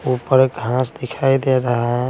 ऊपरघांस दिखाई दे रहा है।